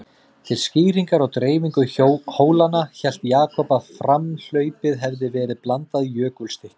Til skýringar á dreifingu hólanna, hélt Jakob að framhlaupið hefði verið blandað jökulstykkjum.